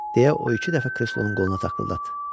Deyə o iki dəfə kreslonun qoluna taqqıldatdı.